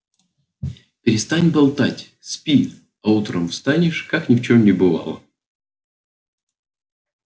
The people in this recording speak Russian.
перестань болтать спи а утром встанешь как ни в чём не бывало